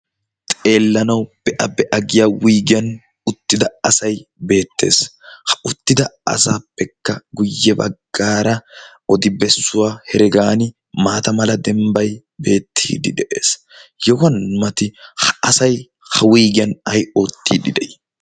Xeellanawu be'a be'a giya wuygiyan uttida asay beettees. Ha uttida asaappekka guyye baggaara odi bessuwa heregaani maata mala dembbay beettiidde de'ees. Yohuwn mati ha asay ha wuygiyan ay oottiidde de'ii?